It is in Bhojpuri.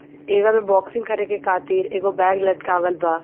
बॉक्सिंग करे के खातिर एगो बैग लटकावल बा।